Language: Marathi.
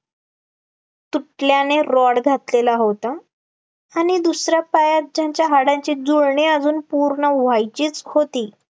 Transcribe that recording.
तुटल्याने rod घातलेला होत, आणि दुसरं पायात त्यांच्या हाडांची जुळणी अजून पूर्ण व्हायची होती